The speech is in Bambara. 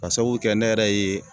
K'a sabu kɛ ne yɛrɛ ye